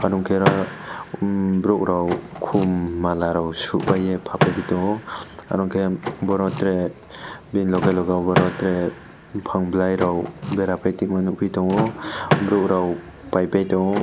nongke oro borok rok kom malarok sopai ye pa pai pi tongo aro ke boro tere bini loge loge abo rog tere bopang bolai rok bera pai tongma nogpi tongo borok rog pai paitango.